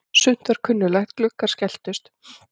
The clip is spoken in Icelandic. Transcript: Sumt var kunnuglegt: Gluggar skelltust.